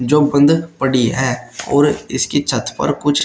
जो बंद पड़ी है और इसकी छत पर कुछ--